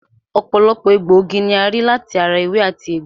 Ọ̀pọ̀lọpọ̀ egbòogi ni a rí láti ara ewé àti egbò